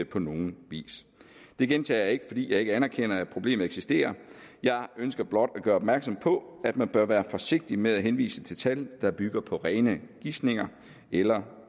på nogen vis det gentager jeg ikke fordi jeg ikke anerkender at problemet eksisterer jeg ønsker blot at gøre opmærksom på at man bør være forsigtig med at henvise til tal der bygger på rene gisninger eller